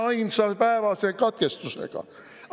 Üheainsa päevase katkestusega!